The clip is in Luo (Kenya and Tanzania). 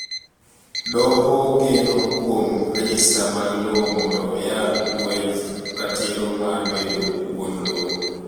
Doho geno kuom rejista mag lowo mondo oyal lwenj ratiro mar bedo wuon lowo.